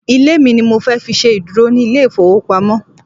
Ilé mi ni mo fẹ́ fi ṣe ìdúró ní ilé ìfowópamọ́.